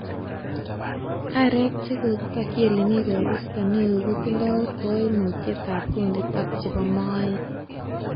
Aarek che kokitokyi elemi koristo neo kotindoi koimutyet ab kundit ak chebo moet.